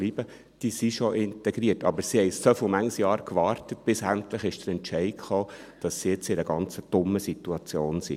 Sie sind schon integriert, aber sie haben so viele Jahre gewartet, bis endlich der Entscheid kam, dass sie jetzt in einer ganz dummen Situation sind.